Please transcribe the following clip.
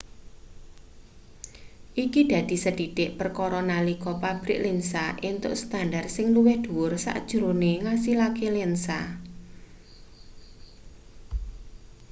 iki dadi sethithik perkara nalika pabrik lensa entuk standar sing luwih dhuwur sajrone ngasilake lensa